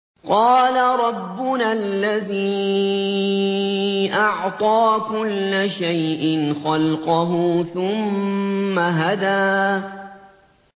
قَالَ رَبُّنَا الَّذِي أَعْطَىٰ كُلَّ شَيْءٍ خَلْقَهُ ثُمَّ هَدَىٰ